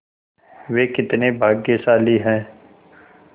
वे कितने भाग्यशाली हैं